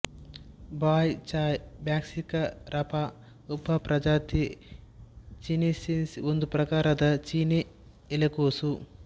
ಬಾಯ್ ಚಾಯ್ brassica rapa ಉಪಪ್ರಜಾತಿ chinensis ಒಂದು ಪ್ರಕಾರದ ಚೀನಿ ಎಲೆಕೋಸು